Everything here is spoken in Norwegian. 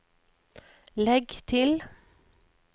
legg til